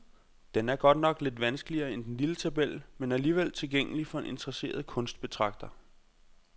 Den er godt nok lidt vanskeligere end den lille tabel, men alligevel tilgængelig for en interesseret kunstbetragter.